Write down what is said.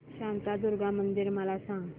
शांतादुर्गा मंदिर मला सांग